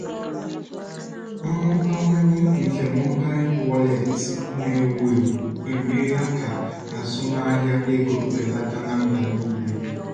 mmụbawanye nke mobail wọleetị na- ewu ewu emeela ka azụmahịa ego belata na mba niile.